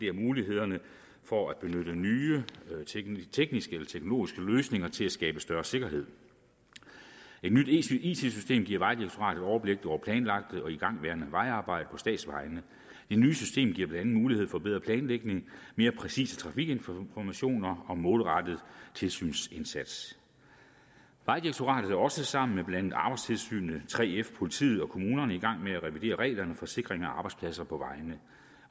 af mulighederne for at benytte nye tekniske eller teknologiske løsninger til at skabe større sikkerhed et nyt it system giver vejdirektoratet overblik over planlagte og igangværende vejarbejder på statsvejene det nye system giver blandt andet mulighed for bedre planlægning mere præcise trafikinformationer og målrettet tilsynsindsats vejdirektoratet er også sammen med blandt andet arbejdstilsynet 3f politiet og kommunerne i gang med at revidere reglerne for sikring af arbejdspladser på vejene